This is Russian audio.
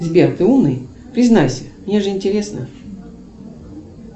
сбер ты умный признайся мне же интересно